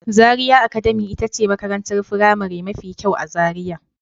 Zaria academy ita ce makarantar firamare mafi kyau a Zaria.